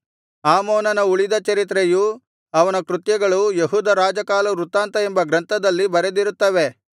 ಆಮೋನನ ಉಳಿದ ಚರಿತ್ರೆಯೂ ಅವನ ಕೃತ್ಯಗಳೂ ಯೆಹೂದ ರಾಜಕಾಲವೃತ್ತಾಂತ ಎಂಬ ಗ್ರಂಥದಲ್ಲಿ ಬರೆದಿರುತ್ತವೆ